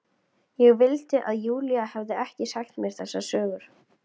Ég vildi að Júlía hefði ekki sagt mér þessar sögur.